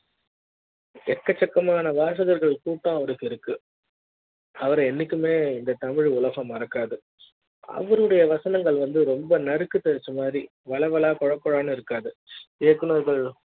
எக்கச்சக்கம் ஆன வாசகர்கள் கூட்டாளருக்கு இருக்கு அவரு என்னைக்குமே இந்த தமிழ் உலக ம் மறக்காது அவருடைய வசனங்கள் வந்து ரொம்ப நறுக்க தசை மாரி வளவள கொழகொழ இருக்காது இயக்குனர்கள்